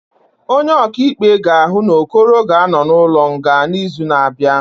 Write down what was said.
Onye ọkaikpe ga-ahụ na Okoro ga-anọ n'ụlọ nga n'izu na-abịa